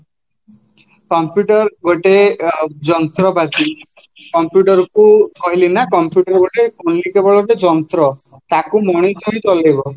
computer ଗୋଟେ ଯନ୍ତ୍ରପାତି computer କୁ କହିଲି ନା computer ଗୋଟେ କୁଲିଟେ ଭଳି ଯନ୍ତ୍ର ତାକୁ ହିଁ ଚଲେଇବା